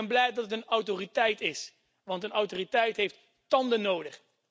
Ik ben blij dat het een autoriteit is, want een autoriteit heeft tanden nodig.